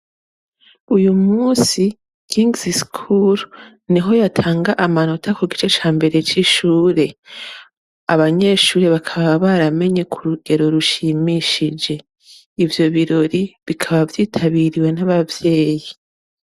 Uyu musi kingisi sikuru niho yatanga amanota ku gice ca mbere c'ishure, abanyeshure bakaba baramenye ku rugero rushimishije, ivyo birori bikaba vyitabiriwe n'abavyeyi.